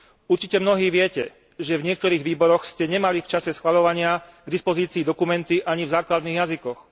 Určite mnohí viete, že v niektorých výboroch ste nemali v čase schvaľovania k dispozícii dokumenty ani v základných jazykoch.